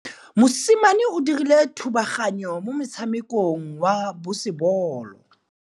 Mosimane o dirile thubaganyô mo motshamekong wa basebôlô.